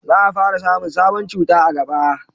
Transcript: za a fara samun sabon cuta a gaba